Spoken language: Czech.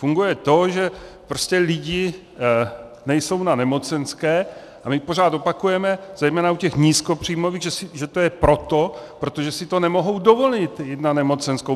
Funguje to, že prostě lidé nejsou na nemocenské, a my pořád opakujeme, zejména u těch nízkopříjmových, že to je proto, protože si to nemohou dovolit jít na nemocenskou.